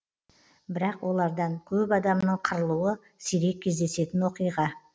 бірақ олардан көп адамның қырылуы сирек кездесетін оқиға